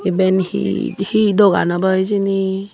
eben he he dugan obo hejini.